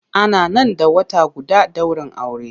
Ana nan da wata guda daurin aure.